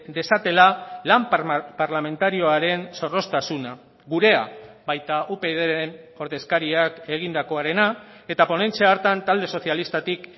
dezatela lan parlamentarioaren zorroztasuna gurea baita upydren ordezkariak egindakoarena eta ponentzia hartan talde sozialistatik